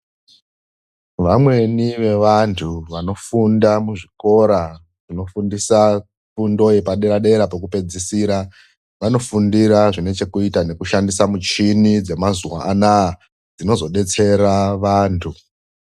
Vamweni vevantu vanofunda muzvikora zvinofundisa fundo yepadera dera pokupedzisira vanofundira zvine chekuita nekushandisa michini yamazuwa anaa dzinozodetsera vantu.